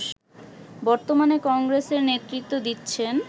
বর্তমানে কংগ্রেসের নেতৃত্ব দিচ্ছেন